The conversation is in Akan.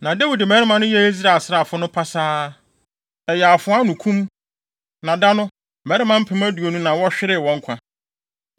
Na Dawid mmarima no yɛɛ Israel asraafo no pasaa. Ɛyɛ afoa ano kum, na da no, mmarima mpem aduonu na wɔhweree wɔn nkwa.